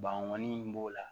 Banbɔnin in b'o la